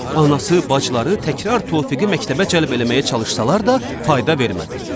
Anası, bacıları təkrar Tofiği məktəbə cəlb eləməyə çalışsalar da fayda vermədi.